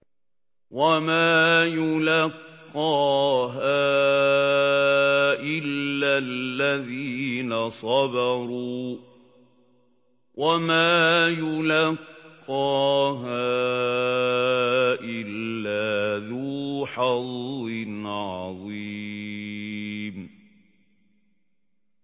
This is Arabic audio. وَمَا يُلَقَّاهَا إِلَّا الَّذِينَ صَبَرُوا وَمَا يُلَقَّاهَا إِلَّا ذُو حَظٍّ عَظِيمٍ